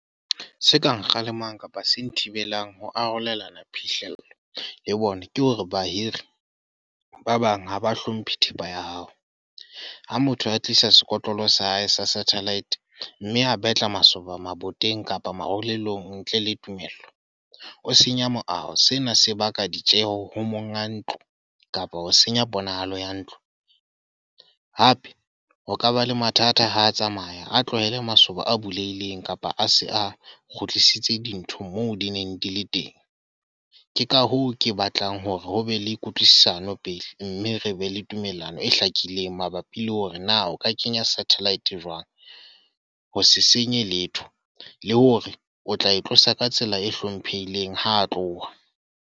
Se ka nkgalemang kapa se nthibelang ho arolelana phihlello, le bona. Ke hore bahiri, ba bang haba hlomphe thepa ya hao. Ha motho a tlisa sekotlolo sa hae sa satellite. Mme a betla masoba maboteng kapa marulelong ntle le tumello. O senya moaho. Sena se baka ditjeho ho monga ntlo, kapa ho senya ponahalo ya ntlo. Hape ho ka ba le mathata ho tsamaya a tlohele masoba a bulehileng kapa a se a kgutlisitse dintho moo di neng di le teng. Ke ka hoo ke batlang hore ho be le kutlwisisano pele. Mme re be le tumellano e hlakileng mabapi le hore na o ka kenya satellite jwang. Ho se senye letho. Le hore o tla e tlosa ka tsela e hlomphehileng, ha tloha.